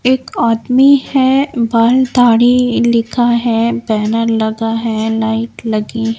एक आदमी है बाल गाड़ी लिखा है बैनर लगा है लाइट लगी है।